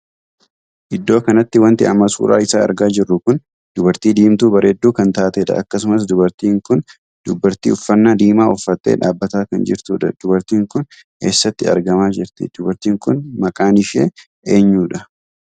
Iddoo kanatti wanti amma suuraa isaa argaa jirru kun dubartii diimtuu bareedduu kan taatedha. akkasumas dubartiin kun dubartii uffannaa diimaa uffattee dhaabbataa kan jirtudha. dubartiin Kun eessatti argamaa jirti? dubartiin kun maqaan ishee eenyudha?